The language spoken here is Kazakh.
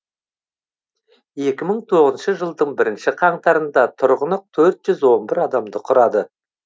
екі мың тоғызыншы жылдың бірінші қаңтарында тұрғыны төрт жүз он бір адамды құрады